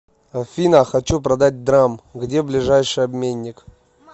афина хочу продать драм где ближайший обменник